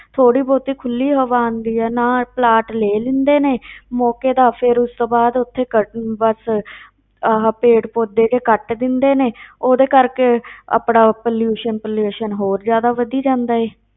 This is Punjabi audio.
ਥੋੜ੍ਹੀ ਬਹੁਤੀ ਖੁੱਲੀ ਹਵਾ ਆਉਂਦੀ ਹੈ ਨਾ, ਪਲਾਟ ਲੈ ਲੈਂਦੇ ਨੇ ਮੌਕੇ ਦਾ ਫਿਰ ਉਸ ਤੋਂ ਬਾਅਦ ਉੱਥੇ cutting ਬਸ ਆਹ ਪੇੜ ਪੌਦੇ ਜਿਹੇ ਕੱਟ ਦਿੰਦੇ ਨੇ ਉਹਦੇ ਕਰਕੇ ਆਪਣਾ pollution pollution ਹੋਰ ਜ਼ਿਆਦਾ ਵਧੀ ਜਾਂਦਾ ਹੈ।